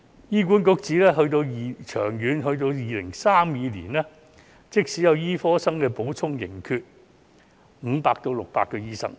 醫管局指，長遠到2032年，即使有醫科生的補充，仍然缺少500至600個醫生。